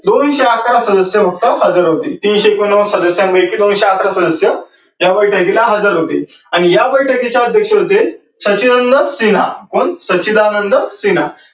दोनशे अकरा सदस्य फक्त हजार होती. तीनशे एकोण नव्वद सदस्यांपैकी दोनशे अकरा सदस्य त्या बैठकीला हजार होती. आणि या बैठकीचे अध्यक्ष होते व सच्चिदानंद सिन्हा